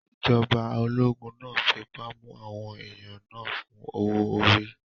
Ìjọba ológun náà fipá mú àwọn èèyàn náà fún owó-orí